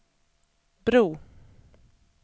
bro